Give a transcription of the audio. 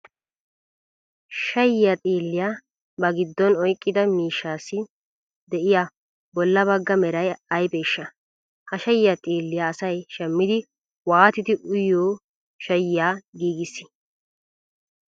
Shayyiyaa xiilliya ba giddon oyqqida miishshaassi de'iya bolla bagga Meray aybeeshsha? Ha shayyiya xiilliya asay shammidi waatidi uyiyo shayyiya giigissii?